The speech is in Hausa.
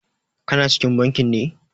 Ka na cikin bankin ne?